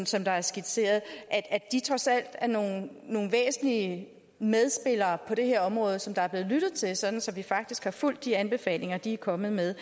som der er skitseret at de trods alt er nogle nogle væsentlige medspillere på det her område som der er blevet lyttet til sådan vi faktisk har fulgt de anbefalinger de er kommet med